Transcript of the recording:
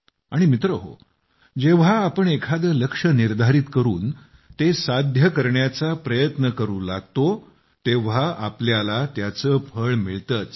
आणि मित्रहो जेव्हा आपण एखादे लक्ष्य निर्धारित करून ते साध्य करण्याचा प्रयत्न करू लागतो तेव्हा आपल्याला त्याचे फळ मिळतेच